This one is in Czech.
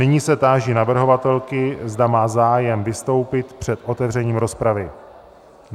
Nyní se táži navrhovatelky, zda má zájem vystoupit před otevřením rozpravy.